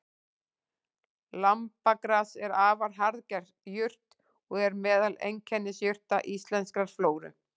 Lambagras er afar harðger jurt og er meðal einkennisjurta íslenskrar flóru.